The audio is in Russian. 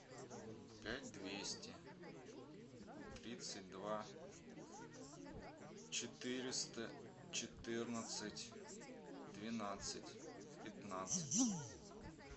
пять двести тридцать два четыреста четырнадцать двенадцать пятнадцать